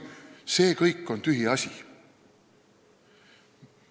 See kõik on tühiasi.